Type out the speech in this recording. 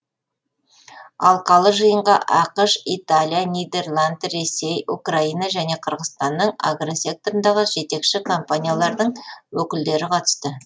алқалы жиынға ақш италия нидерланд ресей украина және қырғызстанның агросекторындағы жетекші компаниялардың өкілдері қатысты